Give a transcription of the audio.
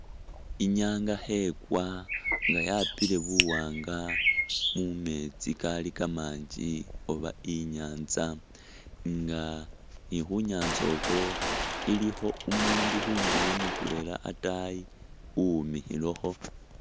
Inyanga khe kwa, nga yapile bu wanga mu metsi Kali kamangi oba inyatsa nga ni khu nyatsa u khwo i likho umundu khundulo mutwela ataayi uwemikhilekho.